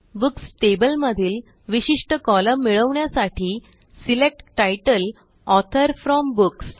books table मधील विशिष्ट column मिळवण्यासाठी select title author from books